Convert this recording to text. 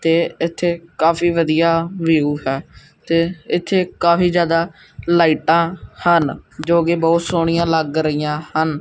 ਤੇ ਇੱਥੇ ਕਾਫੀ ਵਧੀਆ ਵਿਊ ਹੈ ਤੇ ਇੱਥੇ ਕਾਫੀ ਜਿਆਦਾ ਲਾਈਟਾਂ ਹਨ ਜੋ ਕਿ ਬਹੁਤ ਸੋਹਣੀਆਂ ਲੱਗ ਰਹੀਆਂ ਹਨ।